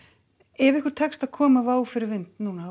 ef ykkur tekst að koma Wow fyrir vind núna